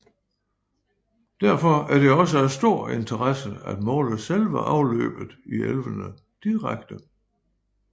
Derfor er det også af stor interesse at måle selve afløbet i elvene direkte